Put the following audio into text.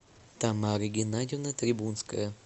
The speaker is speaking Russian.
тамара геннадьевна трибунская